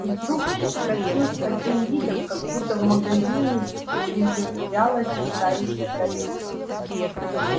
и вдруг вскочил с таким видом как будто в магазине приземлялась летающая тарелка